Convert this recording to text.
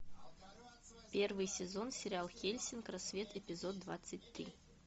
первый сезон сериал хеллсинг рассвет эпизод двадцать три